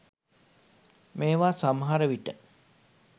මේව සමහර විට